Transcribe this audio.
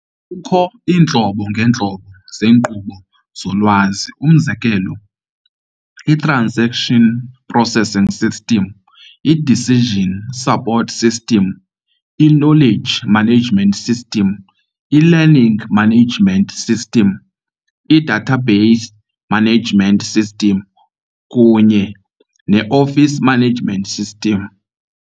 Kukho iintlobo ngeentlobo zeenkqubo zolwazi, umzekelo- i transaction processing system, i decision support system, i knowledge management system, i learning management system, i database management system kunye office management system.